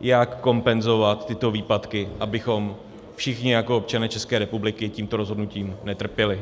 jak kompenzovat tyto výpadky, abychom všichni jako občané České republiky tímto rozhodnutím netrpěli.